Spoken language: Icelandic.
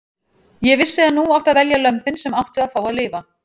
Ég vissi að nú átti að velja lömbin sem áttu að fá að lifa.